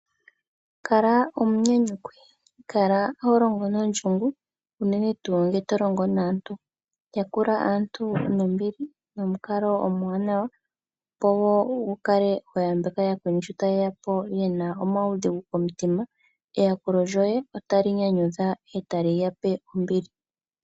Kala omunyanyukwi ngoye oholongo nondjungu, unene tuu ngele tolongo naantu. Yakula aantu nombili, nomukalo omwaanawa opo wukale hotaambako ooyakweni shi tayeyapo yena omaudhigu komitima. Eyakulo lyoyen otali nyanyudha e tali yape ombili.